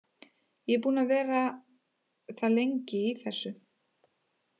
Ég er búinn að vera það lengi í þessu.